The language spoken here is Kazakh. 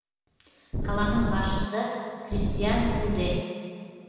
қаланың басшысы кристиан уде